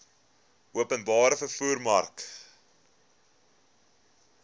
openbare vervoer mark